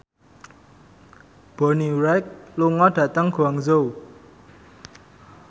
Bonnie Wright lunga dhateng Guangzhou